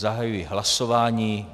Zahajuji hlasování.